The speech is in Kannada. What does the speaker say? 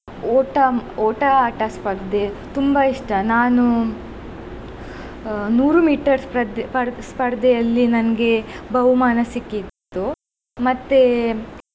ಓಟ ಓಟ ಆಟ ಸ್ಪರ್ದೆ ತುಂಬಾ ಇಷ್ಟ ನಾನು ಅಹ್ ನೂರು meter ಸ್ಪರ್ದೆ ಸ್ಪರ್~ ಸ್ಪರ್ದೆಯಲ್ಲಿ ನನಗೆ ಬಹುಮಾನ ಸಿಕ್ಕಿತ್ತು ಮತ್ತೆ.